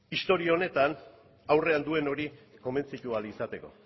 historia honetan aurrean duen hori konbentzitu ahal izateko